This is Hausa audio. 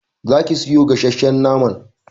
Za ki sayo gasshen naman!